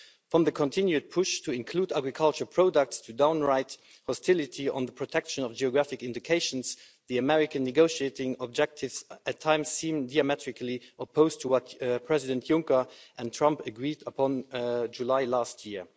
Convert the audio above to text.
From the continued push to include agriculture products to downright hostility on the protection of geographic indications, the American negotiating objectives at times seem geometrically opposed to what Presidents Juncker and Trump agreed on in July last year.